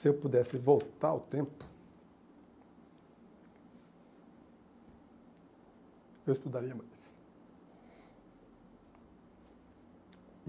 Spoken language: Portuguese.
se eu pudesse voltar ao tempo, eu estudaria mais.